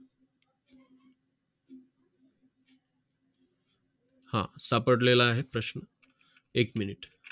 हा सापडलेलं आहे प्रश्न एक मिनिट